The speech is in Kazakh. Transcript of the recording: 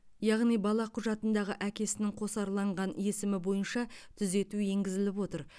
яғни бала құжатындағы әкесінің қосарланған есімі бойынша түзету енгізіліп отыр